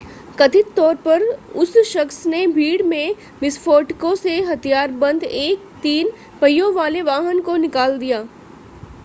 कथित तौर पर उस शख्स ने भीड़ में विस्फोटकों से हथियारबंद एक तीन पहियों वाले वाहन को निकाल दिया